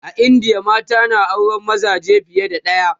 a indiya mata na auran mazaje fiye da ɗaya